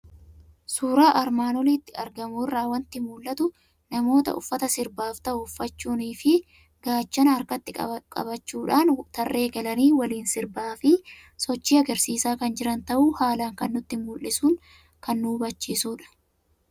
Suuraa armaan olitti argamu irraa waanti mul'atu; namoota uffata sirbaaf ta'uu uffachuunifi gaachana harkatti qabadhuun tarree galani waliin sirbaafi sochii agarsiisa kan jiran ta'uu haalan kan nutti mul'isun kan nu hubachiisudha.